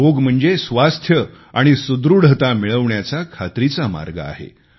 योग म्हणजे स्वास्थ्य आणि सुदृढता मिळवण्याचा खात्रीचा मार्ग आहे